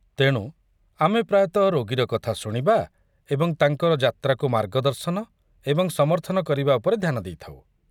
ତେଣୁ ଆମେ ପ୍ରାୟତଃ ରୋଗୀର କଥା ଶୁଣିବା ଏବଂ ତାଙ୍କ ଯାତ୍ରାକୁ ମାର୍ଗଦର୍ଶନ ଏବଂ ସମର୍ଥନ କରିବା ଉପରେ ଧ୍ୟାନ ଦେଇଥାଉ।